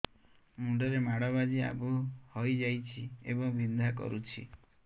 ମୁଣ୍ଡ ରେ ମାଡ ବାଜି ଆବୁ ହଇଯାଇଛି ଏବଂ ବିନ୍ଧା କରୁଛି